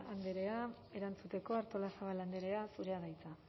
andrea erantzuteko artolazabal andrea zurea da hitza